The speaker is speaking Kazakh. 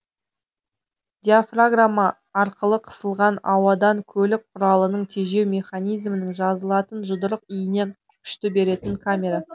диафрагма арқылы қысылған ауадан көлік кұралының тежеу механизмнің жазылатын жұдырық иіне күшті беретін камера